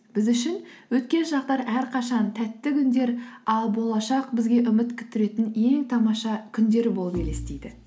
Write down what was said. біз үшін өткен шақтар әрқашан тәтті күндер ал болашақ бізге үміт күттіретін ең тамаша күндер болып елестейді